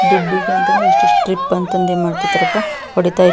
ದುಡ್ಡಿಗೆ ಅಂತಂದು ಇಸ್ಟಿಟ್ ಟ್ರಿಪ್ ಅಂತಂದು ಮಾಡ್ತಾ ಇರ್ತಾರಪ್ಪ ಹೊಡಿತಾ --